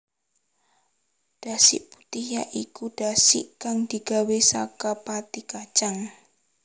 Dasik putih ya iku dasik kang digawé saka pati kacang